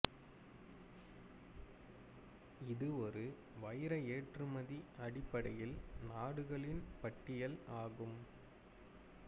இது ஒரு வைர ஏற்றுமதி அடிப்படையில் நாடுகளின் பட்டியல் ஆகும்